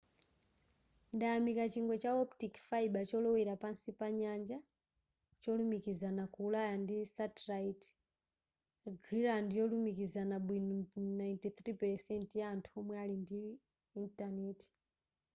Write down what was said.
ndayamika chingwe cha optic fiber cholowera pansi pa nyanja cholumikiza ku ulaya ndi satellite greeland ndiyolumikizana bwino ndi 93% ya anthu omwe ali ndi intaneti